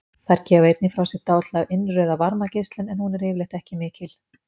Þær gefa einnig frá sér dálitla innrauða varmageislun, en hún er yfirleitt ekki mikil.